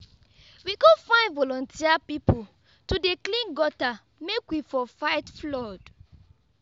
we go find voluteer pipu to dey clean gutter make we for fight flood.